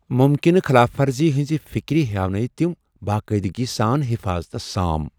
مُمکِنہٕ خلاف ورزی ہنزِ فِكرِ ہیاونٲوۍ تِم باقٲعدگی سان حفاظتس سام ۔